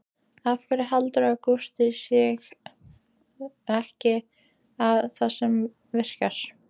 Af hverju heldur Gústi sig ekki við það sem virkar?